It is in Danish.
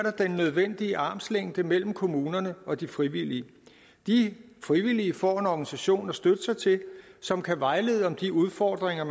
den nødvendige armslængde mellem kommunerne og de frivillige de frivillige får en organisation at støtte sig til som kan vejlede om de udfordringer